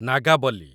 Nagavali